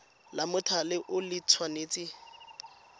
la mothale o le tshwanetse